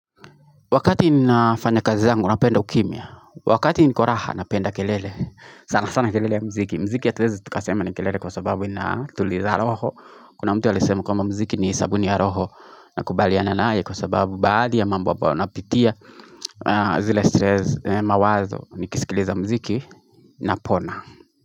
Wakati ninafanya kazi zangu napenda ukimya, wakati niko raha napenda kelele, sana sana kelele ya mziki. Mziki hatuwezi tukasema ni kelele kwa sababu ina tuliza roho. Kuna mtu alisema kwamba mziki ni sabuni ya roho na kubaliana naye kwa sababu baadhi ya mambo ambayo napitia zile stress mawazo nikisikiliza mziki napona.